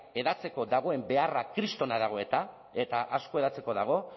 hedatzeko dagoen beharra kristorena dago eta eta asko hedatzeko dago